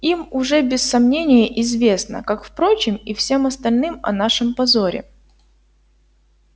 им уже без сомнения известно как впрочем и всем остальным о нашем позоре